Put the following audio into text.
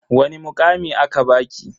Wani mukami aka baki?